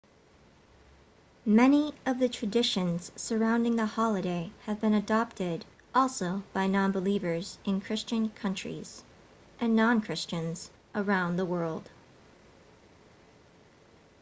many of the traditions surrounding the holiday have been adopted also by non-believers in christian countries and non-christians around the world